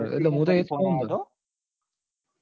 એ phone મુ તો એ જ કઉં